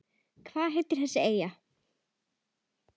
Hvað heitir þessi eyja?